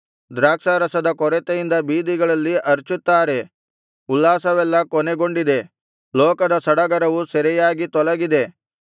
ದ್ರಾಕ್ಷಾರಸದ ಕೊರತೆಯಿಂದ ಬೀದಿಗಳಲ್ಲಿ ಅರಚುತ್ತಾರೆ ಉಲ್ಲಾಸವೆಲ್ಲಾ ಕೊನೆಗೊಂಡಿದೆ ಲೋಕದ ಸಡಗರವು ಸೆರೆಯಾಗಿ ತೊಲಗಿದೆ